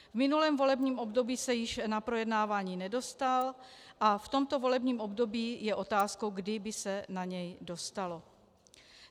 V minulém volebním období se již na projednávání nedostal a v tomto volebním období je otázkou, kdy by se na něj dostalo.